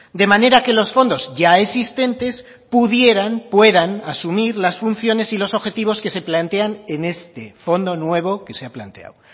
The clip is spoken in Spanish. de manera que los fondos ya existentes pudieran puedan asumir las funciones y los objetivos que se plantean en este fondo nuevo que se ha planteado